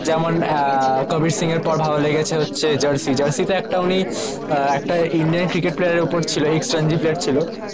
যেমন কবির সিং এর পর ভালো লেগেছে হচ্ছে জার্সি জার্সি তো একটা উনি একটা ইন্ডিয়ান ক্রিকেট প্লেয়ারের ওপর ছিল এক্স রঞ্জি প্লেয়ার ছিল